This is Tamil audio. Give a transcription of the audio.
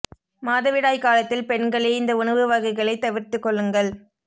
மாதவிடாய் காலத்தில் பெண்களே இந்த உணவு வகைகளை தவிர்த்துக் கொள்ளுங்கள்